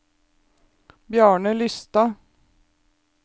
Bjarne Lystad